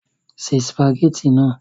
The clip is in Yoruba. Se sìpàgẹ́tì náà!